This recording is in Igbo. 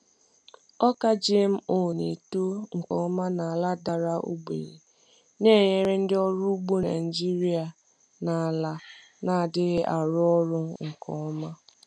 Ọka GMO na-eto nke ọma n’ala dara ogbenye, na-enyere ndị ọrụ ugbo Naijiria na ala na-adịghị arụ ọrụ nke ọma.